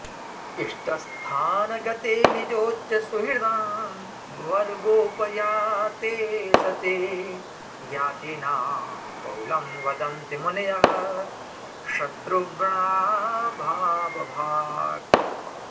इष्टस्थानगते निजोच्चसुहृदां वर्गोपयाते सति ज्ञातीनां बहुलं वदन्ति मुनयः शत्रुव्रणाभावभाक्